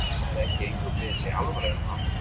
Það er ekki eins og mér sé alvara er það?